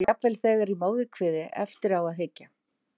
Og jafnvel þegar í móðurkviði- eftir á að hyggja.